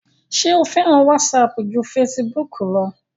ṣé o fẹ́ràn wásapù ju fesibúkù lọ?